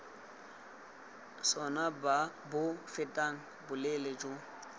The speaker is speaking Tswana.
sona bo fetang boleele jo